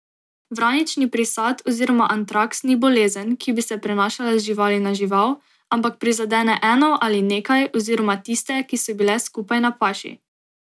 Vranični prisad oziroma antraks ni bolezen, ki bi se prenašala z živali na žival, ampak prizadene eno ali nekaj oziroma tiste, ki so bile skupaj na paši.